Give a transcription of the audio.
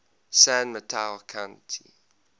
san mateo county